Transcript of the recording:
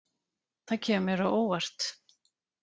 Það kemur mér á óvart